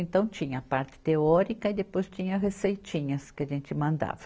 Então, tinha a parte teórica e depois tinha receitinhas que a gente mandava.